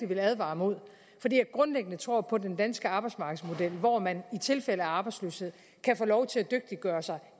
vil advare imod fordi jeg grundlæggende tror på den danske arbejdsmarkedsmodel hvor man i tilfælde af arbejdsløshed kan få lov til at dygtiggøre sig